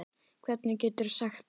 Hvernig geturðu sagt það?